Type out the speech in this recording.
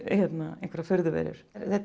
einhverjar furðuverur þetta